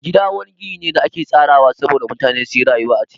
Gida wani gini ne da ake tsarawa sabo da mutane suyi rayuwa a ciki.